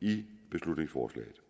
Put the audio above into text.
i beslutningsforslaget